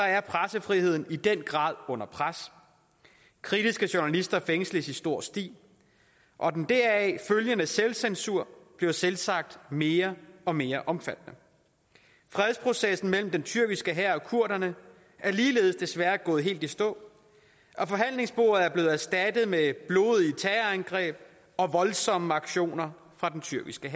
er pressefriheden i den grad under pres kritiske journalister fængsles i stor stil og den deraf følgende selvcensur bliver selvsagt mere og mere omfattende fredsprocessen mellem den tyrkiske hær og kurderne er ligeledes desværre gået helt i stå og forhandlingsbordet er blevet erstattet med blodige terrorangreb og voldsomme aktioner fra den tyrkiske